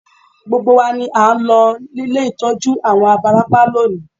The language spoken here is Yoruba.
Gbogbo wa ni à ń lọ ilé ìtọ́jú àwọn abarapá lónìí